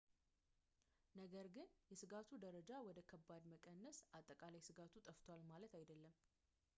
ነገር ግን የስጋቱን ደረጃ ወደ ከባድ መቀነስ አጠቃላይ ስጋቱ ጠፍቷል ማለት አይደለም